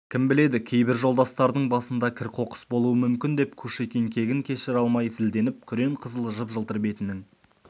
кім біледі кейбір жолдастардың басында да кір-қоқыс болуы мүмкін деп кушекин кегін кешіре алмай зілденіп күрең-қызыл жып-жылтыр бетінің